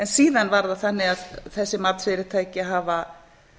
síðan er það þannig að þessi matsfyrirtæki hafa